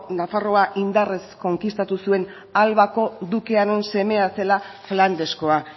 nafarroa indarrez konkistatu zuen albako dukearen semea zela flandeskoa